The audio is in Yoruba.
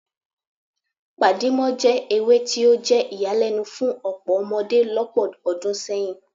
Pàdímọ́ jẹ́ ewé tí ó jẹ́ ìyàlẹ́nu fún ọ̀pọ̀ ọmọdé lọ́pọ̀ ọdún sẹ́yìn